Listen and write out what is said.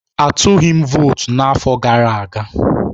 Atụghị m votu n'afọ gara aga